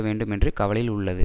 வேண்டும் என்று கவலையில் உள்ளது